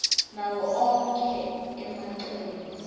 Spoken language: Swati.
nawo onkhe emacele